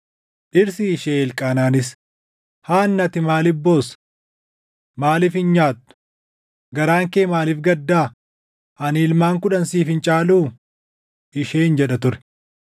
Dhirsi ishee Elqaanaanis, “Haannaa ati maaliif boossa? Maaliif hin nyaattu? Garaan kee maaliif gaddaa? Ani ilmaan kudhan siif hin caaluu?” Isheen jedha ture.